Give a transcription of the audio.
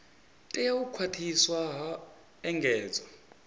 tea u khwathiswa ha engedzwa